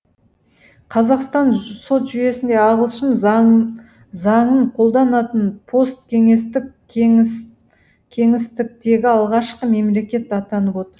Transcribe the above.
қазақстан сот жүйесінде ағылшын заңын қолданатын посткеңестік кеңістіктегі алғашқы мемлекет атанып отыр